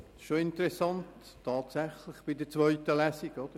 Bei der zweiten Lesung ist es tatsächlich interessant.